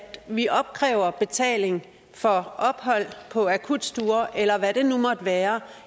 vi opkræver betaling for ophold på akutstuer eller hvad det nu måtte være